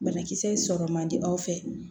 Banakisɛ in sɔrɔ man di aw fɛ